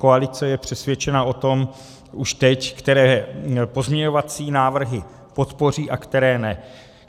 Koalice je přesvědčena o tom už teď, které pozměňovací návrhy podpoří a které ne.